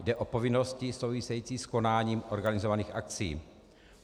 Jde o povinnosti související s konáním organizovaných akcí.